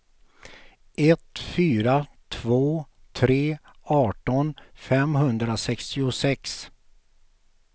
ett fyra två tre arton femhundrasextiosex